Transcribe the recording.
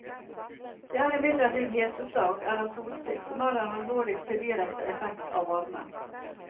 Det er imidlertid heteslag, eller solstikk, som er den alvorligste direkte effekt av varmen.